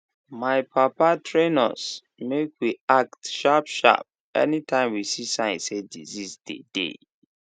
my papa train us make we act sharp sharp anytime we see sign say disease dey dey